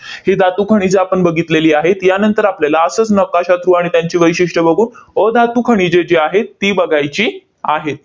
ही धातुखनिजे आपण बघितलेली आहेत. यानंतर आपल्याला असंच नकाशा through त्यांची वैशिष्ट्ये बघू अधातू खनिजे जी आहेत, ती बघायची आहेत.